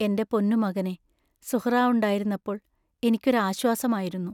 എന്റെ പൊന്നുമകനേ, സുഹ്റാ ഉണ്ടായിരുന്നപ്പോൾ എനിക്കൊരാശ്വാസമായിരുന്നു.